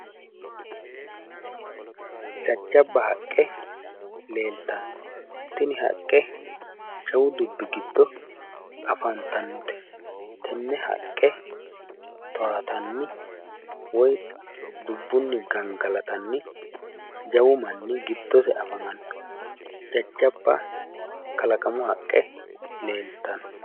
jajjabba haqqe leeltanno tini haqqe jawu dubbi giddo afantannote tenne haqqe towaatanni woyi dubbunni gangalatanni jawu manni afamanno jajjabba kalaqamu haqqe leeltanno.